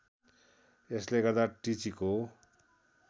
यसले गर्दा टिचीको